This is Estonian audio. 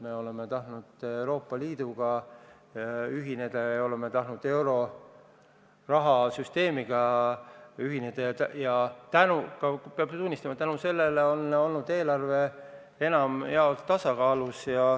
Me oleme tahtnud Euroopa Liiduga ühineda ja oleme tahtnud euroraha süsteemiga ühineda ja peab tunnistama, et tänu sellele on olnud eelarve enamjaolt tasakaalus.